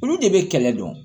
Olu de bɛ kɛlɛ dɔn